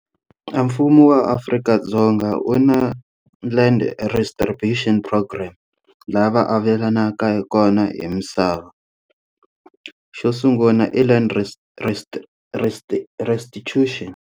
Mfumo wa Afrika-Dzonga u na land program laha va avelanaka kona hi misava xo sungula i land resti resti resti restitution.